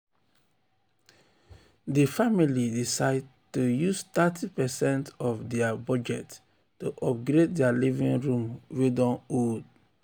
di um family decide to use thirty percent of dia budget to upgrade dia living room wey don old.